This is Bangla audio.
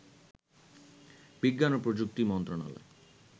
বিজ্ঞান ও প্রযুক্তি মন্ত্রণালয়